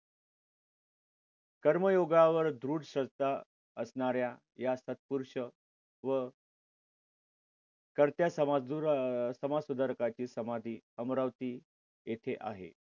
कर्मयोगावर दृढ श्रद्धा असणाऱ्या या सत्पुरुर्ष व कर्त्या समाजसुधारकाची समाधी अमरावती येथे आहे.